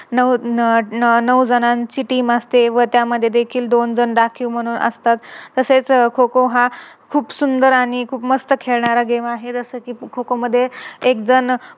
नऊ नऊ-नऊ जणांची Team असते व त्यामध्ये देखील दोन जण राखीव म्हणून असतात. तसेच खो-खो हा खूप सुंदर आणि खूप मस्त खेळणारा Game आहे. जस कि खो-खो मध्ये एक जण